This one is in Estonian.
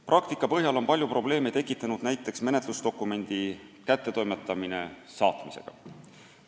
Praktika põhjal on palju probleeme tekitanud näiteks menetlusdokumendi kättetoimetamine saatmisega.